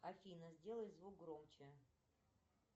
афина сделай звук громче